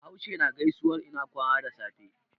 Bahaushe na gaisuwan ina kwana da safe.